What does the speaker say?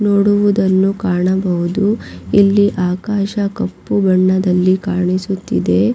ನೋಡುವುದನ್ನು ಕಾಣಬಹುದು ಇಲ್ಲಿ ಆಕಾಶ ಕಪ್ಪು ಬಣ್ಣದಲ್ಲಿ ಕಾಣಿಸುತ್ತಿದೆ.